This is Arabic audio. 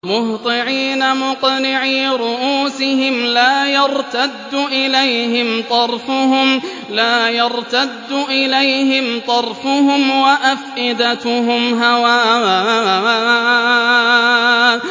مُهْطِعِينَ مُقْنِعِي رُءُوسِهِمْ لَا يَرْتَدُّ إِلَيْهِمْ طَرْفُهُمْ ۖ وَأَفْئِدَتُهُمْ هَوَاءٌ